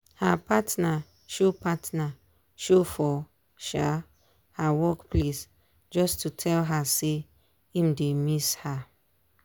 her partner show partner show for um her work place just to tell her say im dey miss her.